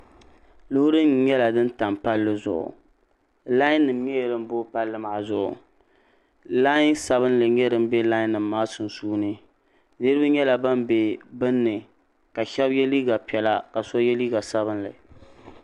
Loori nim nyɛla din tam palli zuɣu laan nim nyɛla din booi palli maa zuɣu laan sabinli n nyɛ din bɛ laan nim maa sunsuuni niraba nyɛla ban bɛ binni ka shab yɛ liiga piɛla ka so yɛ liiga sabinli